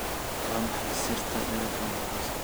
Waa maxay sirta dhererka Mombasa?